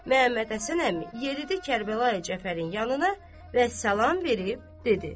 Məmmədhəsən əmi yeridi Kərbəlayı Cəfərin yanına və salam verib dedi: